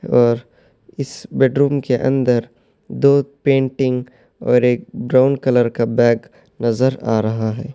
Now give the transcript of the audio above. اور اس بیڈروم کے اندر دو پینٹنگ اور ایک براؤن کلر کا بیگ نظر آ رہا ہے۔